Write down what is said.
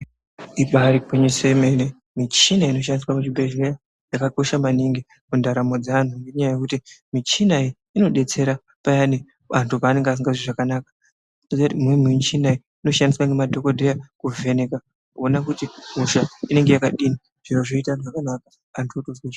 Ibari gwinyiso remene michina inoshandiswa muzvibhehlera yakakosha maningi mundaramo dzeanhu nenyaya yekuti michina iyi inobetsera payani vantu pavanonga vasingazwi zvakanaka imweni michina iyi inoshandiswa nemadhokodheya kuvheneka ona kuti hosha inenge yakadi zviro .